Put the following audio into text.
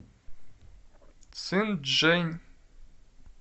цинчжэнь